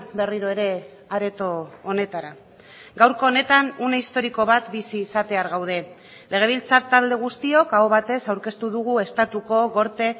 berriro ere areto honetara gaurko honetan une historiko bat bizi izatear gaude legebiltzar talde guztiok aho batez aurkeztu dugu estatuko gorte